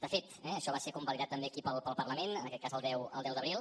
de fet això va ser convalidat també aquí pel parlament en aquest cas el deu d’abril